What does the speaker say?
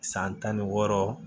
San tan ni wɔɔrɔ